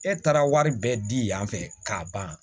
E taara wari bɛɛ di yan fɛ k'a ban